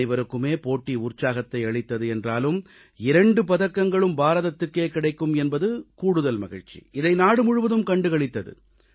அனைவருக்குமே போட்டி உற்சாகத்தை அளித்தது என்றாலும் இரண்டு பதக்கங்களும் பாரதத்துக்கே கிடைக்கும் என்பது கூடுதல் மகிழ்ச்சி இதை நாடு முழுவதும் கண்டு களித்தது